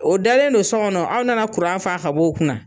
O dalen don sɔkɔnɔ aw nana kuran faa ka bɔ o kunna